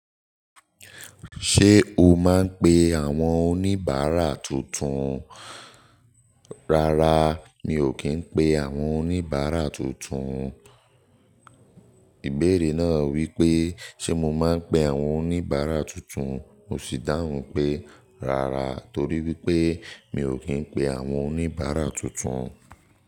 Ṣé o máa ń pe àwọn oníbàárà tuntun?" "Rárá, mi ò kì í pe àwọn oníbàárà tuntun." Ìbéèrè náà wípé sé mo máa ń pe àwọn oníbàárà tuntun, mo sì dáhùn pé rárá torí wípé mi ò kí ń pe àwọn oníbàárà tuntun.